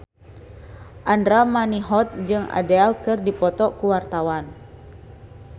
Andra Manihot jeung Adele keur dipoto ku wartawan